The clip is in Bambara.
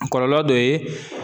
A kɔlɔlɔ dɔ ye.